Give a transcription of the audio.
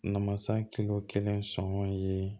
Namasa kelen sɔngɔn ye